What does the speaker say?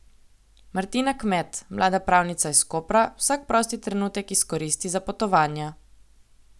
Martina Kmet, mlada pravnica iz Kopra, vsak prosti trenutek izkoristi za potovanja.